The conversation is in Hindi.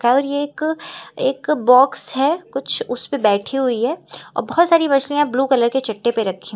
और यह एक एक बॉक्स है कुछ उस पे बैठी हुई है और बहुत सारी मछलियां ब्लू कलर के चट्टे पे रखी हुई--